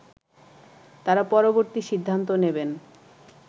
তারা পরবর্তী সিদ্ধান্ত নেবেন